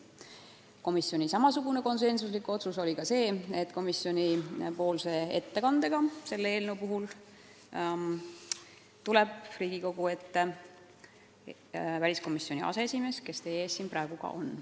Komisjoni konsensuslik otsus oli ka see, et komisjoni ettekande teeb Riigikogu väliskomisjoni aseesimees, kes teie ees praegu ka on.